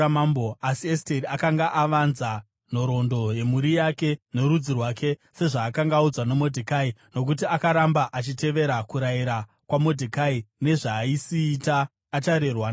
Asi Esteri akanga avanza nhoroondo yemhuri yake norudzi rwake sezvaakanga audzwa naModhekai, nokuti akaramba achitevera kurayira kwaModhekai nezvaaisiita acharerwa naye.